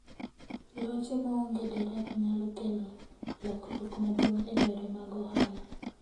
Loche maonge derep nyalo kelo lokruok maduong' e yore mag ohala.